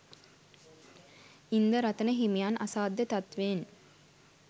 ඉන්දරතන හිමියන් අසාධ්‍ය තත්ත්වයෙන්